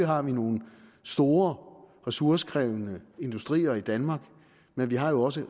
har nogle store ressourcekrævende industrier i danmark men vi har jo også